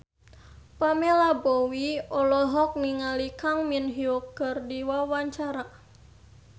Pamela Bowie olohok ningali Kang Min Hyuk keur diwawancara